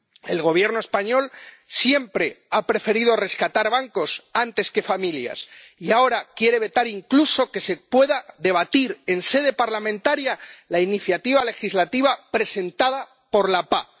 El Gobierno español siempre ha preferido rescatar bancos antes que familias y ahora quiere vetar incluso que se pueda debatir en sede parlamentaria la iniciativa legislativa presentada por la PAH.